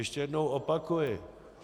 Ještě jednou opakuji.